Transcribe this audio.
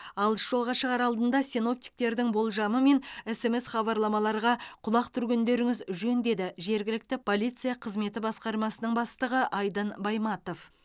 алыс жолға шығар алдында синоптиктердің болжамы мен смс хабарламаларға құлақ түргендеріңіз жөн деді жергілікті полиция қызметі басқармасының бастығы айдын байматов